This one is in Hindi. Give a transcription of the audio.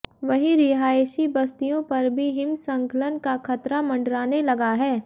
वहीं रिहायशी बस्तियों पर भी हिमस्खलन का खतरा मंडराने लगा है